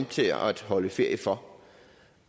til at holde ferie for